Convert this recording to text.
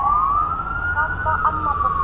Ís fyrir alla, amma borgar